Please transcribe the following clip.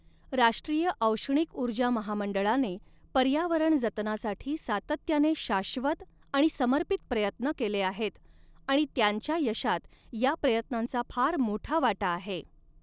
राष्ट्रीय औष्णिक उर्जा महामंडळाने पर्यावरण जतनासाठी सातत्याने शाश्वत आणि समर्पित प्रयत्न केले आहेत आणि त्यांच्या यशात या प्रयत्नांचा फार मोठा वाटा आहे.